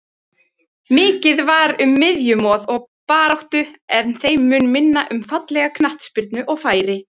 Mikið var um miðjumoð og baráttu en þeim mun minna um fallega knattspyrnu og færi.